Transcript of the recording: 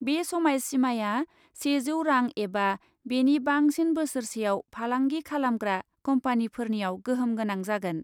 बे समाय सिमाया सेजौ रां एबा बेनि बांसिन बोसोरसेयाव फालांगि खालामग्रा कम्पानीफोरनियाव गोहोम गोनां जागोन ।